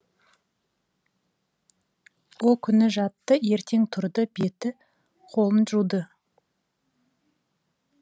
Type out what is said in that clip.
о күні жатты ертең тұрды беті қолын жуды